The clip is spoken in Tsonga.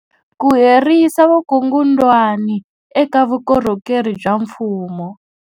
Ku herisa vukungundwani eka vukorhokeri bya mfumo.